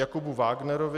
Jakubu Vágnerovi